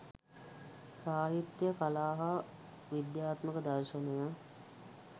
සාහිත්‍යය කලා හා විදාත්මක දර්ශනය